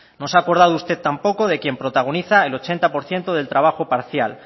no se ha acordado usted tampoco de quien protagoniza el ochenta por ciento del trabajo parcial